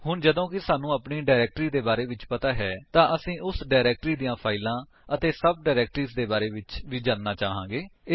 ਹੁਣ ਜਦੋਂ ਕਿ ਸਾਨੂੰ ਆਪਣੀ ਡਾਇਰੇਕਟਰੀ ਦੇ ਬਾਰੇ ਵਿੱਚ ਪਤਾ ਹੈ ਤਾਂ ਅਸੀ ਉਸ ਡਾਇਰੇਕਟਰੀ ਦੀਆਂ ਫਾਇਲਾਂ ਅਤੇ ਸਭ ਡਾਇਰੇਕਟਰੀਜ ਦੇ ਬਾਰੇ ਵਿੱਚ ਵੀ ਜਾਣਨਾ ਚਾਹਾਂਗੇ